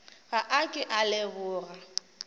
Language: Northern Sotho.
ga a ke a leboga